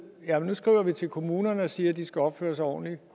nu skriver vi til kommunerne og siger at de skal opføre sig ordentligt